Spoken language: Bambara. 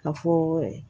Ka fɔ